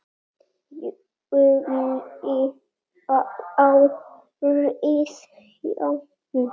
júlí árið jan.